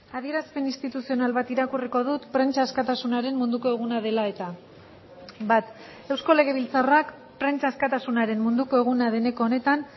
adierazpen instituzional bat irakurriko dut prentsa askatasunaren munduko eguna dela eta bat eusko legebiltzarrak prentsa askatasunaren munduko eguna deneko honetan